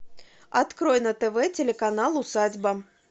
открой на тв телеканал усадьба